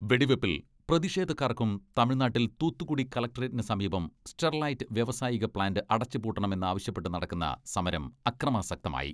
വെടിവെപ്പിൽ പ്രതിഷേധക്കാർക്കും തമിഴ്നാട്ടിൽ തൂത്തുക്കുടി കളക്ട്രേറ്റിനു സമീപം സ്റ്റെർലൈറ്റ് വ്യാവസായിക പ്ലാന്റ് അടച്ചുപൂട്ടണം എന്നാവശ്യപ്പെട്ട് നടക്കുന്ന സമരം അക്രമാസക്തമായി.